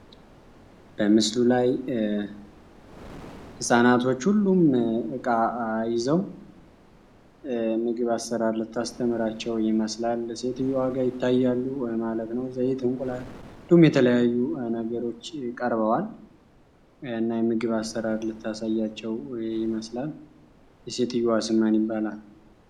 በምስሉ ለይ ፃናቶች ሁሉም እቃ ይዘው ምግብ አሠራር ታስተምራቸው ይመስላል ሴትየዋ ጋር ይታያሉ ማለት ነው የተለያዩ ነገሮች የቀርበዋል የምግብ አሰራር ልታሳያቸው ይመስላል። የሴትዮ ስም ማን ይባላል?